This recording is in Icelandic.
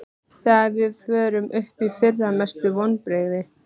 Þegar við fórum upp í fyrra Mestu vonbrigði?